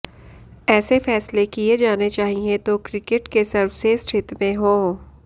ऐसे फैसले किए जाने चाहिए तो क्रिकेट के सर्वश्रेष्ठ हित में हों